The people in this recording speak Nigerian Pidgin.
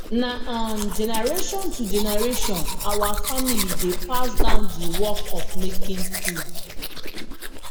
na um generation to generation our family dey pass down the work of making tools